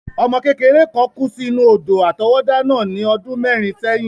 Ọmọ kékeré kán kú sí inú odò àtọwọ́dá náà ní ọdún mẹ́rin sẹ́yìn.